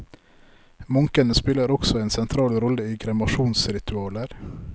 Munkene spiller også en sentrale rolle i kremasjonsritualer.